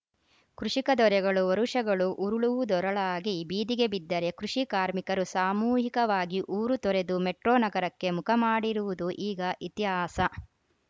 ಕೃಷಿಕ ದೊರೆಗಳು ವರುಷಗಳು ಉರುಳುವುದೊರಳಾಗಿ ಬೀದಿಗೆ ಬಿದ್ದರೆ ಕೃಷಿ ಕಾರ್ಮಿಕರು ಸಾಮೂಹಿಕವಾಗಿ ಊರು ತೊರೆದು ಮೆಟ್ರೋ ನಗರಕ್ಕೆ ಮುಖಮಾಡಿರುವುದು ಈಗ ಇತಿಹಾಸ